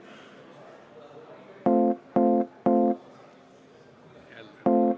Oleme hääletuseks valmis.